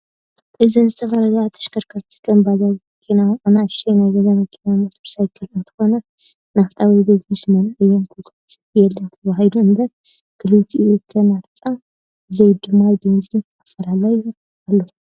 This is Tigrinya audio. አዘን ዝተፈላለያ ተሽኸርከረቲ ከም ባጃጅ፣ መኪና፣ አናእሽተይ ናይ ገዛ መኪና፣ ሞተር ሳይክላት አንትኮና ናፍጣ ወይ ቤንዚን ክመላአ እየን ተጋዕዘን የለን ተባህሉ እንበር ክልትኡ ከ ናፍጣ ዘይ ድማ ቤንዚን እንታይ አፈላላዮ አለዎ?